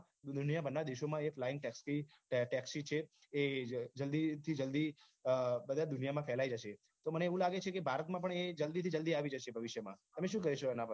દુનિયાભરના દેશોમાં એ flying taxi taxi છે એ જલ્દી થી જલ્દી બધે દુનિયામાં ફેલાઈ જશે તો મને એવું લાગે છે કે ભારતમાં પણ એ જલ્દીથી જલ્દી આવી જશે ભવિષ્યમાં તમે શું કહશો આના પર